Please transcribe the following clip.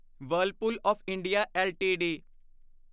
Whirlpool of India LTD